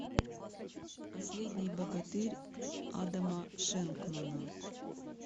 последний богатырь адама шенкмана